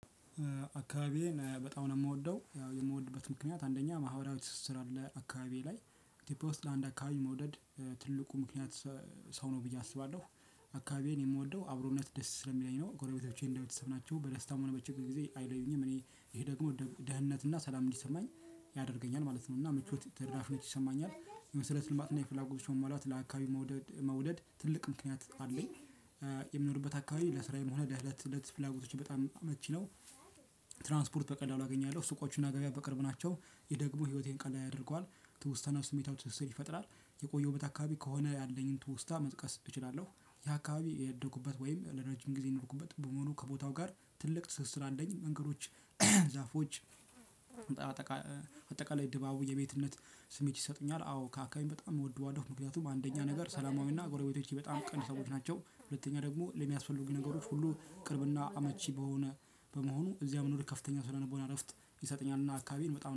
አካባቢዬን በጣም ነው ምወደው ያው የምወድበት ምክንያት አንደኛ ማህበራዊ ትስስር አለ አካባቢዬ ላይ ኢትዮጵያ ውስጥ ለአንድ አካባቢ መውደድ ትልቁ ምክንያት ሰ ሰው ነው ብዬ አስባለሁ። አካባቢዬን የምወደው አብሮነት ደስ ስለሚለኝ ነው ጎረቤቶቼ እንደ ቤተሰብ ናቸው በደስታም ሆነ በችግር ጊዜ አይለዩኝም እኔ ይሄ ደግሞ ደ ደህንነት እና ሰላም እንዲሰማኝ ያደርገኛል ማለት ነው። እና ምቾት ትራፊነት ይሰማኛል የመሰረት ልማት እና የፍላጎቶች መሟላት ለአካባቢ መውደድ መውደድ ትልቅ ምክንያት አለኝ። የምኖርበት አካባቢ ለስራዬም ሆነ ለእለት እለት ፍላጎቶቼ በጣም አመቺ ነው። ትራንስፖርት በቀላሉ አገኛለሁ ሱቆቹ እና ገበያ በቅርብ ናቸው ይህ ደግሞ ህይወቴን ቀና ያደርገዋል። ትውስታ እና ስሜታዊ ትስስር ይፈጥራል የቆየሁበት አካባቢ ከሆነ ያለኝን ትውስታ መጥቀስ እችላለሁ። ያ አካባቢ ያደኩበት ወይም ለረጅም ጊዜ የኖርኩበት በመሆኑ ከቦታው ጋር ትልቅ ትስስር አለኝ መንገዶች። ዛፎች ጣአጠቃ አጠቃላይ ድባቡ የቤትነት ስሜት ይሰጡኛል አዎ ከአካባቢም በጣም እወደዋለሁ። ምክንያቱም አንደኛ ነገር ሰላማዊ እና ጎረቤቶቼ በጣም ቅን ሰዎች ናቸው ሁለተኛ ደግሞ ለሚያስፈልጉኝ ነገሮች ሁሉ ቅርብ እና አመቺ በሆነ በመሆኑ እዚያ መኖር ከፍተኛ ስነ ልቦና እረፍት ይሰጠኛል። እና አካባቢን በጣም